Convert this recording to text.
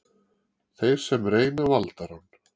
Þeir sem reyna valdarán